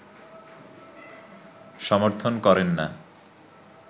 সমর্থন করেন না